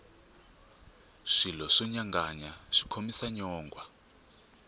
swilo swo nyanganya swi khomisa nyongwha